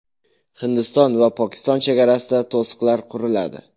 Hindiston va Pokiston chegarasida to‘siqlar quriladi.